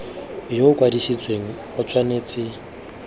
yo o kwadisitsweng o tshwanetse